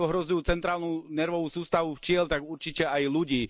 A keď ohrozujú centrálnu nervovú sústavu včiel, tak určite aj ľudí.